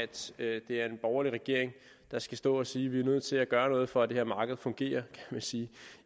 det er en borgerlig regering der skal stå og sige vi er nødt til at gøre noget for at det her marked fungerer